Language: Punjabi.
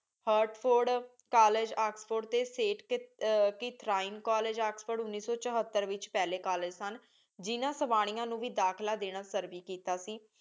ਹੇਆਰਟ ਫੋਰਡ ਕੋਲ੍ਲੇਗੇ ਓਕ੍ਸ੍ਫੋਰਡ ਟੀ ਰਹੀਮੇ ਕੋਲ੍ਲੇਗੇ ਓਕ੍ਸ੍ਫੋਰਡ ਉਨੀ ਸੂ ਚੁਹਾਤਾਰ ਵਿਚ ਪਹਲੀ ਕੋਲ੍ਲੇਗੇ ਸਨ ਜਿੰਨਾ ਸ੍ਵਾਨਿਯਾਂ ਨੂ ਵੀ ਦਾਖਲਾ ਦੇਣਾ ਵੀ ਫ਼ਰਜੀ ਕੀਤਾ ਸੀ